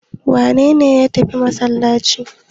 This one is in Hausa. Wane ne ya tafi masallaci?